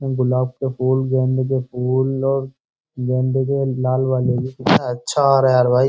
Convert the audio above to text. गुलाब के फूल गेंदे के फूल और गेंदे के लाल वाले भी कितना अच्छा आ रहा है यार भाई।